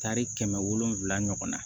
Tari kɛmɛ wolonfila ɲɔgɔn na